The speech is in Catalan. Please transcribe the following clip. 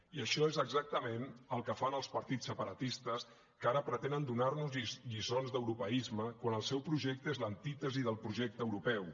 i això és exactament el que fan els partits separatistes que ara pretenen donar nos lliçons d’europeisme quan el seu projecte és l’antítesi del projecte europeu